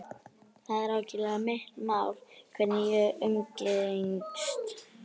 Það er algerlega mitt mál hverja ég umgengst.